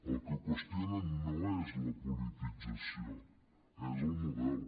el que qüestionen no és la politització és el model